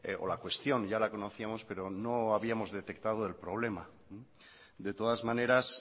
o la cuestión ya la conocíamos pero no habíamos detectado el problema de todas maneras